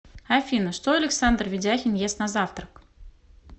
афина что александр ведяхин ест на завтрак